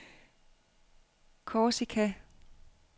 Korsika